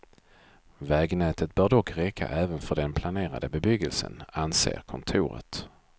Vägnätet bör dock räcka även för den planerade bebyggelsen, anser kontoret.